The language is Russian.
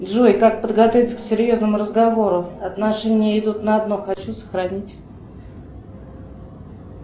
джой как подготовиться к серьезному разговору отношения идут на дно хочу сохранить